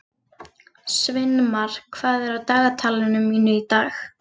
Sveinmar, hvað er á dagatalinu mínu í dag?